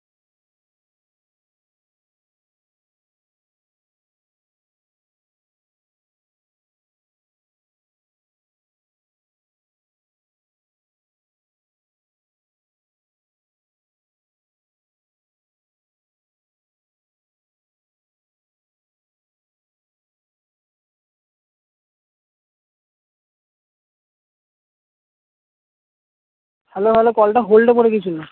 hello hello call টা hold এ পরে গিয়ে ছিল